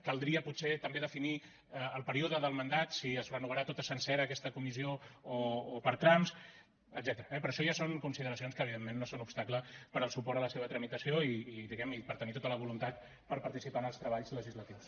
caldria potser també definir el període del mandat si es renovarà tota sencera aquesta comissió o per trams etcètera eh però això ja són consideracions que evidentment no són obstacle per al suport a la seva tramitació i diguem ne per tenir tota la voluntat per participar en els treballs legislatius